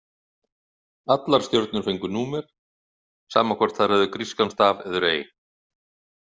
Allar stjörnur fengu númer, sama hvort þær höfðu grískan staf eður ei.